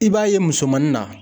I b'a ye musomannin na.